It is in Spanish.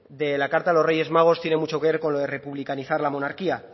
de la carta a los reyes magos tiene mucho que ver con lo de republicanizar la monarquía